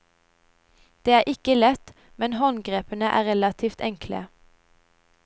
Det er ikke lett, men håndgrepene er relativt enkle.